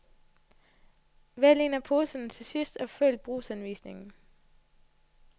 Vælg en af poserne til sidst og følg brugsanvisningen.